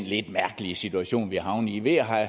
lidt mærkelige situation vi er havnet i ved